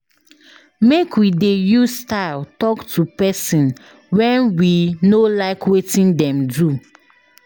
Make we dey use style talk to pesin wen we no like wetin dem do.